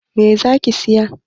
Me kake so ka siya?